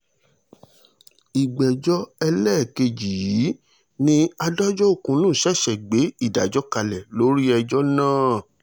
ìgbẹ́jọ́ ẹlẹ́ẹ̀kejì yìí ni adájọ́ okunnu ṣẹ̀ṣẹ̀ gbé ìdájọ́ kalẹ̀ lórí ẹjọ́ náà